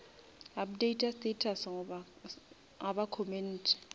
updata status ga ba commente